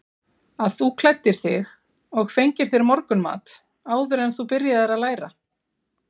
Að þú klæddir þig og fengir þér morgunmat áður en þú byrjaðir að læra?